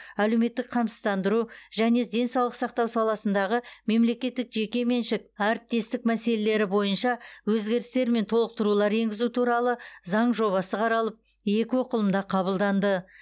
әлеуметтік қамсыздандыру және денсаулық сақтау саласындағы мемлекеттік жекешелік әріптестік мәселелері бойынша өзгерістер мен толықтырулар енгізу туралы заң жобасы қаралып екі оқылымда қабылданды